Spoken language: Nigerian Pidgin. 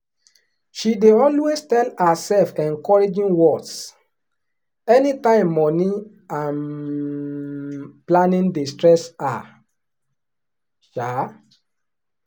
she dey always tell herself encouraging words anytime money um planning dey stress her. um